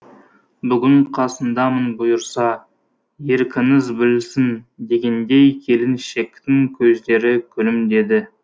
бүгін қасыңдамын бұйырса еркіңіз білсін дегендей келіншектің көздері күлімдеді